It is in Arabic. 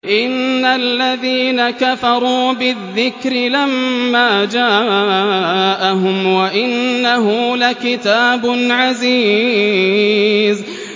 إِنَّ الَّذِينَ كَفَرُوا بِالذِّكْرِ لَمَّا جَاءَهُمْ ۖ وَإِنَّهُ لَكِتَابٌ عَزِيزٌ